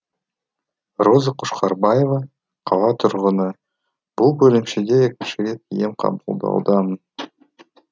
роза қошқарбаева қала тұрғыны бұл бөлімшеде екінші рет ем қабылдаудамын